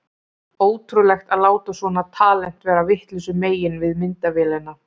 Ótrúlegt að láta svona talent vera vitlausu megin við myndavélina!